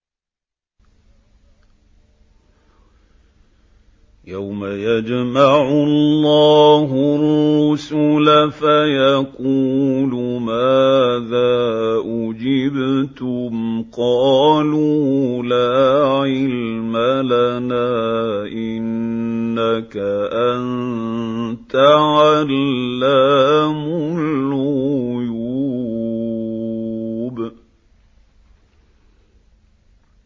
۞ يَوْمَ يَجْمَعُ اللَّهُ الرُّسُلَ فَيَقُولُ مَاذَا أُجِبْتُمْ ۖ قَالُوا لَا عِلْمَ لَنَا ۖ إِنَّكَ أَنتَ عَلَّامُ الْغُيُوبِ